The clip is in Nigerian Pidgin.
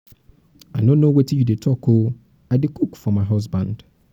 i no know wetin you dey talk oo i dey cook um for my husband.